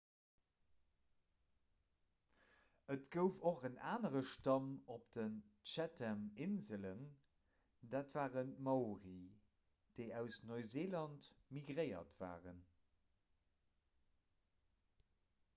et gouf och en anere stamm op den chathaminselen dat waren d'maori déi aus neuseeland migréiert waren